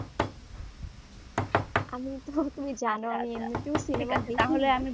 আমি তো তুমি জানো আমি এমনিতেও সিনেমা দেখিনা